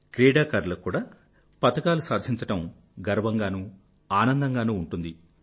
క్రీడాకారులకు కూడా పతకాలు సాధించడం గర్వంగానూ ఆనందంగానూ ఉంటుంది